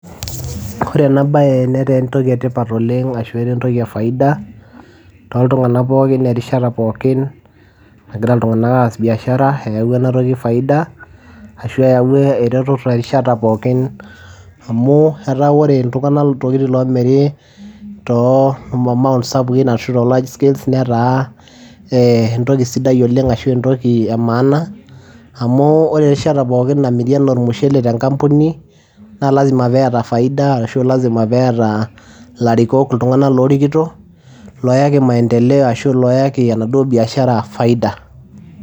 Kore ena baye netaa entoki e tipat oleng' ashu etaa entoki e faida toltung'anak pookin erishata pookin nagira iltung'anak aas biashara, eyawua ena toki faida ashu eyawua eretotot erishata pookin amu etaa ore iltung'anak iltokitin loomiri too mamount sapukin ashu te large scales ee netaa entoki sidai oleng' ashu entoki e maana, amu ore erishata pookin namiri enaa ormushele te nkampuni naa lazima peeta faida ashu lazima peeta ilarikok iltung'anak loorikito, looyaki maendeleo ashu looyaki enaduo biashara faida.